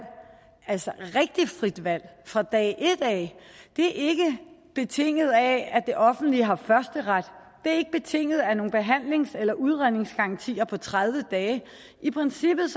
altså rigtig frit valg fra dag et af det er ikke betinget af at det offentlige har førsteret det er ikke betinget af nogle behandlings eller udredningsgarantier på tredive dage i princippet